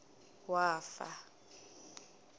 wafa